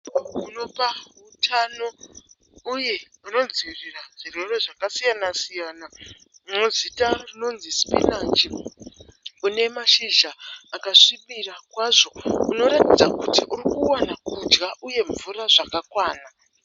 Unopa utano uye unodzivirira zvirwere zvakasiyana-siyana unezita rinonzi sipinachi. Unemashizha akasvibira kwazvo. Unoratidza kuti urikuwana kudya uye mvura zvakakwana.